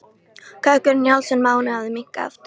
Kökkurinn í hálsinum á henni hafði minnkað aftur.